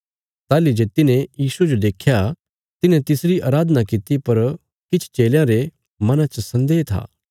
ताहली जे तिन्हे यीशुये जो देख्या तिन्हे तिसरी अराधना कित्ती पर किछ चेलयां रे मना च सन्देह था